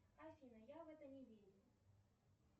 афина я в это не верю